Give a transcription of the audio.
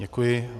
Děkuji.